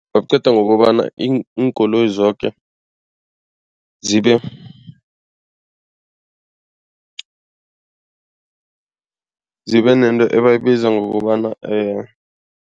Baqeda ngokobana iinkoloyi zoke zibe zibe nento ebayibiza ngokobana